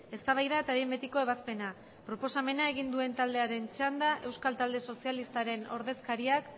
eztabaida eta behin betiko ebazpena proposamena egin duen taldearen txanda euskal talde sozialistaren ordezkariak